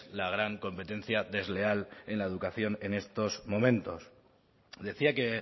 la gran competencia desleal en la educación en estos momentos decía que